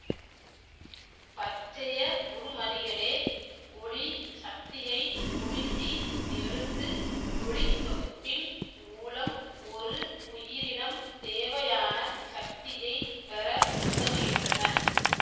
பச்சையவுருமணிகளே ஒளிச் சக்தியை உறிஞ்சி எடுத்து ஒளித்தொகுப்பின் மூலம் ஒரு உயிரினம் தேவையான சக்தியை பெற உதவுகின்றன